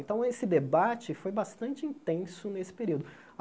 Então, esse debate foi bastante intenso nesse período.